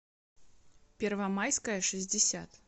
первомайская шестьдесят